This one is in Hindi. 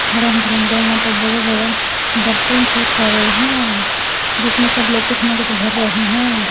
रंग बिरंगे यहां पर बड़े बड़े बर्तन से पड़े हैं जिसमें सब लोग कुछ ना कुछ भर रहे हैं।